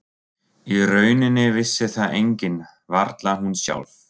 Í rauninni vissi það enginn, varla hún sjálf.